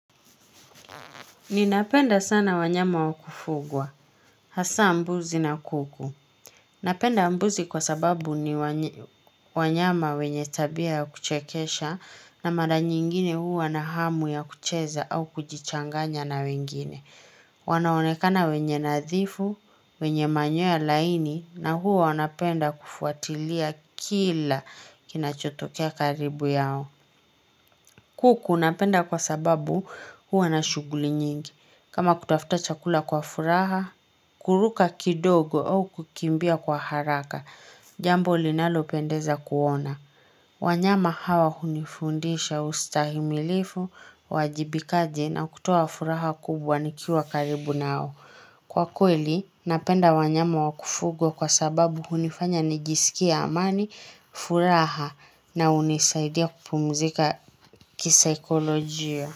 Ninapenda sana wanyama wakufugwa, hasaa mbuzi na kuku. Napenda mbuzi kwa sababu ni wanyama wenye tabia ya kuchekesha na mara nyingine huwa na hamu ya kucheza au kujichanganya na wengine. Wanaonekana wenye nadhifu, wenye manyoya laini na huwa wanapenda kufuatilia kila kinachotokea karibu yao. Kuku napenda kwa sababu huwa na shughuli nyingi. Kama kutafuta chakula kwa furaha, kuruka kidogo au kukimbia kwa haraka, jambo linalo pendeza kuona. Wanyama hawa hunifundisha ustahimilifu, wajibikaji na kutoa furaha kubwa nikiwa karibu nao. Kwa kweli, napenda wanyama wakufugwa kwa sababu hunifanya nijiskie amani, furaha na hunisaidia kupumzika kisaikolojia.